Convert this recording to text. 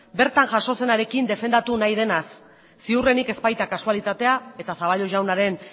bertan jason zenarekin defendatu nahi denaz ziurrenik ez baita kasualitatea eta zaballos jaunaren